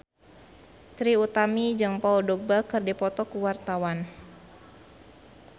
Trie Utami jeung Paul Dogba keur dipoto ku wartawan